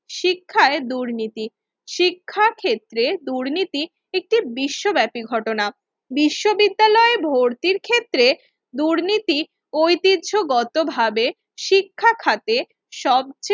শিক্ষায় দুর্নীতি শিক্ষা ক্ষেত্রে দুর্নীতি একটি বিশ্বব্যাপী ঘটনা বিশ্ববিদ্যালয় ভর্তির ক্ষেত্রে দুর্নীতি ঐতিহ্যগতভাবে শিক্ষা খাতে সবচেয়ে